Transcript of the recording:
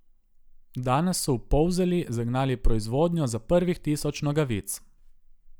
Danes so v Polzeli zagnali proizvodnjo za prvih tisoč nogavic.